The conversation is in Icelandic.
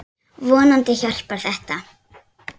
Vonandi hjálpar þetta.